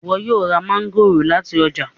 ìwo yóò rá Mángòrò láti ọjà